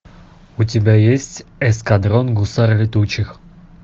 у тебя есть эскадрон гусар летучих